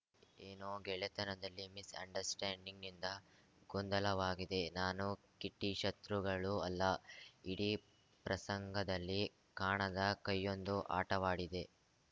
ಏನೋ ಗೆಳೆತನದಲ್ಲಿ misunderstanding ನಿಂದ ಗೊಂದಲವಾಗಿದೆ ನಾನು ಕಿಟ್ಟಿಶತ್ರುಗಳೂ ಅಲ್ಲ ಇಡೀ ಪ್ರಸಂಗದಲ್ಲಿ ಕಾಣದ ಕೈಯೊಂದು ಆಟವಾಡಿದೆ